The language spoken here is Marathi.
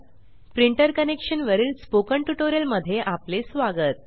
प्रिंटर कनेक्शन वरील स्पोकन ट्यूटोरियल मध्ये आपले स्वागत